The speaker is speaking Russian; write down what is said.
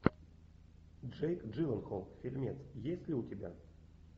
джейк джилленхол фильмец есть ли у тебя